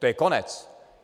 To je konec!